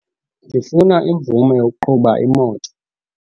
Ndifuna imvume yokuqhuba imoto.